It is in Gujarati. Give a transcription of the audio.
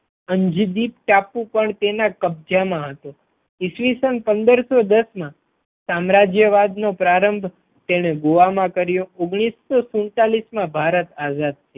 અંજદીપ ટાપુ પણ તેના કબજા મા હતો. ઈસવીસન પંદર સો દશ મા સામ્રાજ્યવાદ નો પ્રારંભ તેને ગોવા મા કર્યો. ઓગણીસો સુડતાલીસ મા ભારત આઝાદ.